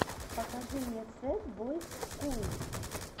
покажи мне сэд бойс скул